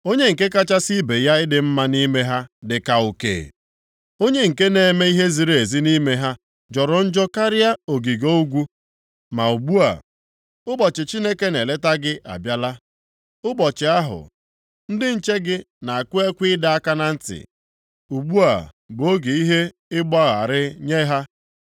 Onye nke kachasị ibe ya ịdị mma nʼime ha dịka uke. Onye nke na-eme ihe ziri ezi nʼime ha jọrọ njọ karịa ogige ogwu. Ma ugbu a, ụbọchị Chineke na-eleta gị abịala, ụbọchị ahụ ndị nche gị na-akụ ekwe ịdọ aka na ntị. Ugbu a bụ oge ihe ịgba gharịị nye ha.